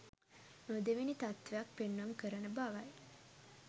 නොදෙවෙනි තත්ත්වයක් පෙන්නුම් කරන බවයි.